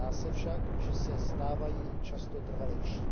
Zdá se však, že se stávají často trvalejšími.